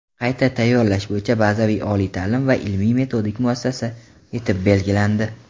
qayta tayyorlash bo‘yicha bazaviy oliy taʼlim va ilmiy-metodik muassasa etib belgilandi.